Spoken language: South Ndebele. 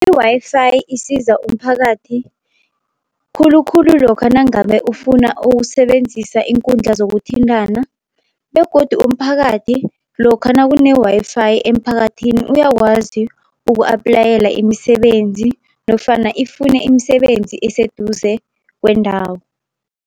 I-Wi-Fi isiza umphakathi khulukhulu lokha nangabe ufuna ukusebenzisa iinkundla zokuthintana, begodu umphakathi lokha nakune-Wi-Fi emphakathini uyakwazi uku-aplayela imisebenzi, nofana ifune imisebenzi eseduze kwendawo.